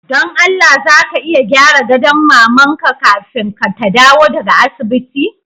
Don Allah za ka iya gyara gadon maman ka kafin ta dawo daga asibiti?